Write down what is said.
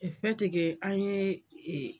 an ye